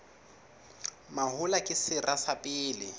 mahola ke sera sa pele